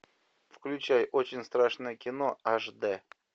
включай очень страшное кино аш д